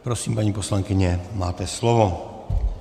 Prosím, paní poslankyně, máte slovo.